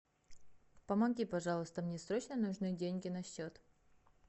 помоги пожалуйста мне срочно нужны деньги на счет